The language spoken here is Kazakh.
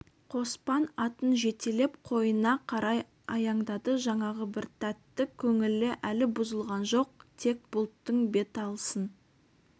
қоспан атын жетелеп қойына қарай аяңдады жаңағы бір тәтті көңілі әлі бұзылған жоқ тек бұлттың беталысын